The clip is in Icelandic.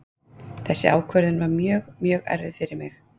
Þessi ákvörðun var mjög, mjög erfið fyrir mig.